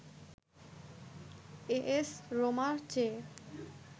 as রোমার চেয়ে